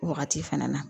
O wagati fana na